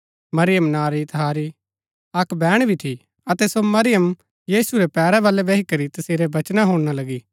मरियम नां री तहारी अक्क बैहण भी थी अतै सो मरियम यीशु रै पैरा वलै बैही करी तसेरै वचना हुणना लगी